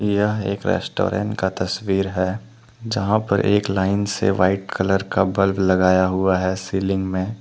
यह एक रेस्टोरेंट का तस्वीर हैजहां पर एक लाइन से वाइट कलर का बल्ब लगाया हुआ हैसीलिंग में।